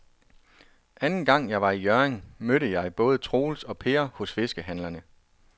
Anden gang jeg var i Hjørring, mødte jeg både Troels og Per hos fiskehandlerne.